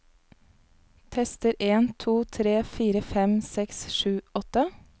Tester en to tre fire fem seks sju åtte